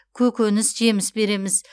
көкөніс жеміс береміз